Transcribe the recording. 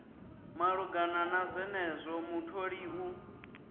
malugana na zwenezwo mutholi u